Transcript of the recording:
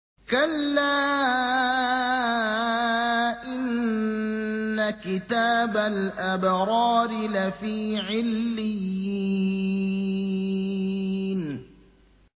كَلَّا إِنَّ كِتَابَ الْأَبْرَارِ لَفِي عِلِّيِّينَ